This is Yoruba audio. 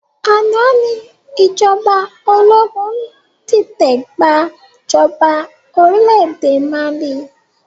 Àná ni ìjọba ológun dìtẹ̀ gbà jọba orílédé Mali